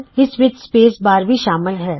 ਇਸ ਵਿੱਚ space bar ਵੀ ਸ਼ਾਮਲ ਹੈ